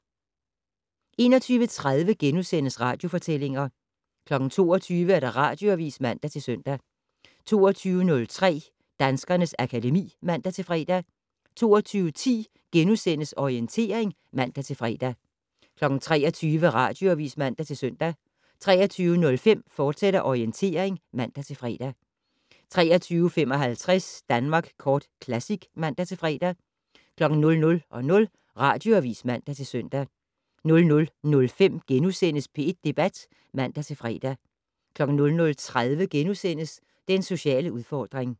21:30: Radiofortællinger * 22:00: Radioavis (man-søn) 22:03: Danskernes akademi (man-fre) 22:10: Orientering *(man-fre) 23:00: Radioavis (man-søn) 23:05: Orientering, fortsat (man-fre) 23:55: Danmark Kort Classic (man-fre) 00:00: Radioavis (man-søn) 00:05: P1 Debat *(man-fre) 00:30: Den sociale udfordring *